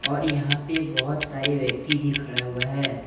और यहां पे बहुत सारे व्यक्ति भी खड़ा हुआ है।